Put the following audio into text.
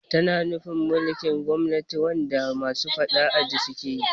Tana nufin mulkin gwamnati wanda masu faɗa aji ne sukeyi